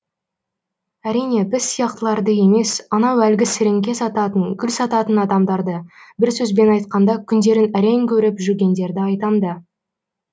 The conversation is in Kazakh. әрине біз сияқтыларды емес анау әлгі сіріңке сататын гүл сататын адамдарды бір сөзбен айтқанда күндерін әрең көріп жүргендерді айтам да